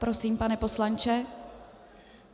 Prosím, pane poslanče.